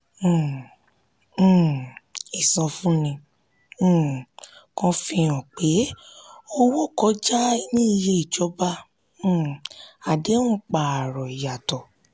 um um ìsọfúnni um kan fi hàn pé owó kọjá ní iye ìjọba um àdéhùn pààrọ̀ ìyàtọ̀.